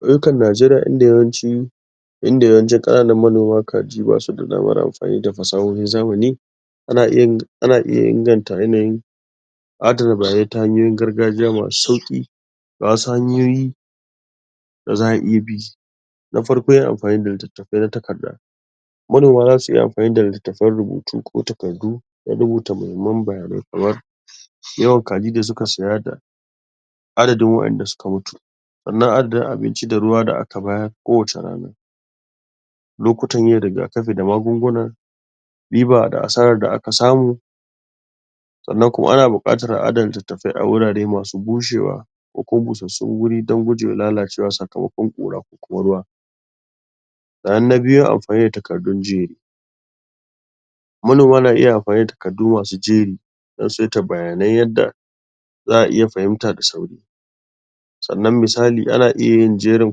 Ƙauyukan Najeriya inda yawanci, inda yawancin ƙananan manoma ka diba ba su da damar amfani da fasahan zamani ana iya yin ana iya inganta yanayin adana bayanai ta hanyoyin gargajiya masu sauƙi ga wassu hanyoyi da za a iya bi. Na farko yin amfani da littafai na takarda. Manoma za su iya yin amfani da littafan rubutu ko taakardu rubuta muhimman bayanai kamar, yawan kaji da suka saya da adadin waƴanda suka mutu sannan adadin abinci da ruwa da aka bayar kowace rana lokutan yin rigakafi da magunguna riba da asaran da aka samu sannan kuma ana buƙatan a adana littafai a wuri mai bushewa ko busasshen wurin dan gujewa lalacewa sakamakon ƙura ko ruwa. Sannan na biyu akwai takardun Manoma na iya amfani da takardu masu jeri dan saita bayanai yadda za a iya fahimta da sauri sannan misali ana iya yin jerin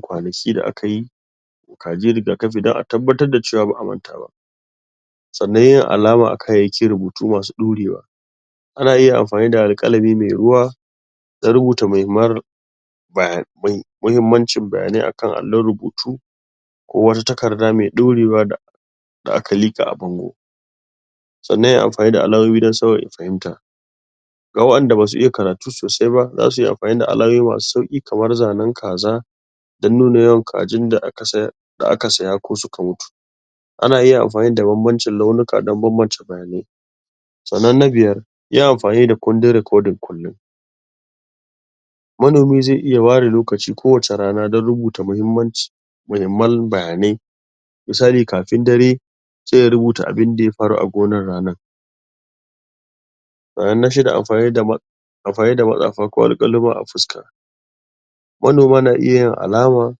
kwanaki da akayi kaji rigakafi dan a tabbatar da cewa ba a manta ba. Sannan yin alama a kayayyakin rubutu masu dorewa Ana iya amfani da alƙalami mai ruwa dan rubuta muhimman bayanai. Muhimmancin bayanai a kan allon rubutu ko wata takarda da mai dorewa da aka liƙa a bango. Sannan ya yi amfani da alamomi dan sauya fahimta. Ga waɗanda ba su iya karatu sosai ba za su iya amfani da alamomi masu sauki kamar zanen kaza dan nuna yawan kazan da aka sayar da aka saya ko suka mutu. Ana iya amfani da banbancin launuka dan bambance bayanai. Sannan na biyar, yin amfani da kundin rekodin. Manomi zai iya ware lokaci ko wace rana dan rubuta mahimmanci mahimman bayanai, misali kafin dare sai ya rubuta abinda ya faru a gonan ranan. Sannan na shida akwai, amfani da ko alƙaluma a fuska. Manoma na iya yin alaman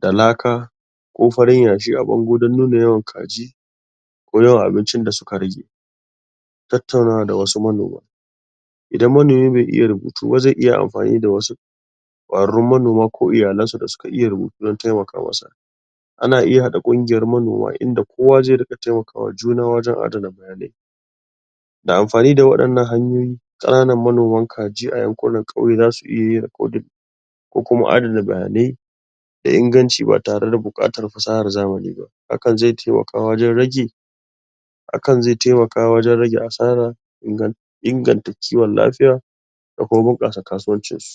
da laka ko farin yashi a bango dan nuna yawan kaji ko yawan abincin da suka rage. Tattaunawa da wasu manoma:- idan manomi bai iya rubutu ba zai iya amfani da wassu ƙwararrun manoma ko iyalansu waɗanda suka iya rubutu dan su taimaka masa. A na iya haɗa kungiyar manoma inda kowa zai iya taimaka wa juna dan adana bayanai, da amfani da wadannan hanyoyi ƙananan manoman kaji a yankunan kauye za su iya yin rekodin ko kuma adana bayanai yai inganci ba tare da bukatan fasahan zamani ba haka zai taimaka wajen rage haka zai taimaka wajen rage asara inganta kiwon lafiya da kuma bunƙasa kasuwancin su.